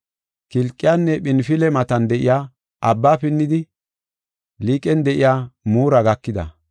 Kilqiyanne Phinfile matan de7iya abba pinnidi Liiqen de7iya Mura gakida.